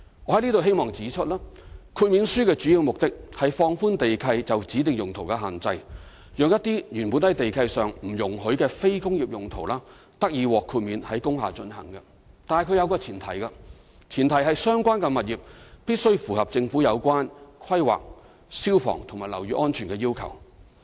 我希望在此指出，豁免書的主要目的，是放寬地契就指定用途的限制，讓一些原本在地契上不容許的非工業用途，得以獲豁免在工廈進行，但前提是相關物業必須符合政府有關規劃、消防和樓宇安全的要求。